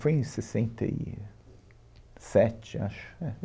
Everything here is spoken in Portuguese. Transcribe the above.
Foi em sessenta e sete, acho. É.